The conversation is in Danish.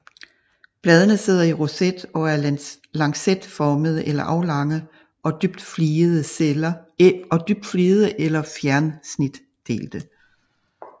Bladene sidder i roset og er lancetformede eller aflange og dybt fligede eller fjersnitdelte